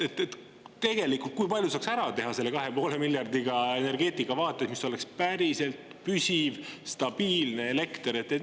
Kui palju tegelikult saaks energeetika vaates selle 2,5 miljardiga ära teha, et oleks päriselt püsiv, stabiilne elekter!